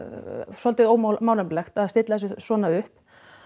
svolítið ómálefnalegt að stilla þessu svona upp